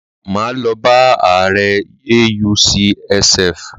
Máa lọ bá ààrẹ AUCSF.